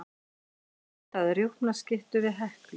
Leita að rjúpnaskyttu við Heklu